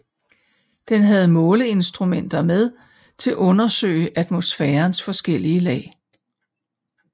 Den havde måleinstrumenter med til undersøge atmosfærens forskellige lag